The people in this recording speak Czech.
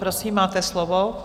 Prosím, máte slovo.